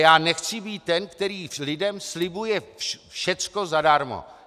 Já nechci být ten, který lidem slibuje "všecko zadarmo".